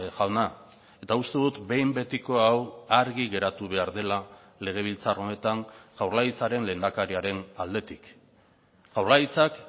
jauna eta uste dut behin betiko hau argi geratu behar dela legebiltzar honetan jaurlaritzaren lehendakariaren aldetik jaurlaritzak